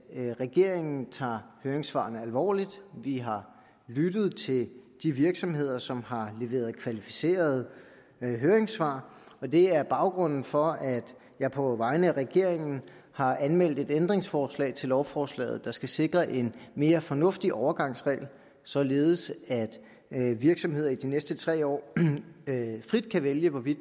at regeringen tager høringssvarene alvorligt vi har lyttet til de virksomheder som har leveret kvalificerede høringssvar og det er baggrunden for at jeg på vegne af regeringen har anmeldt et ændringsforslag til lovforslaget der skal sikre en mere fornuftig overgangsregel således at virksomheder i de næste tre år frit kan vælge hvorvidt